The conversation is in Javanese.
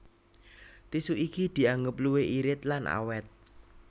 Tisu iki dianggep luwih irit lan awét